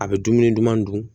A bɛ dumuni duman dun